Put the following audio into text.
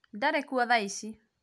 ndarĩkuo thaa ici